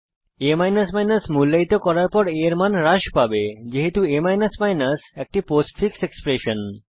a মূল্যায়িত করার পর a এর মান হ্রাস পাবে যেহেতু a একটি পোস্টফিক্স এক্সপ্রেশন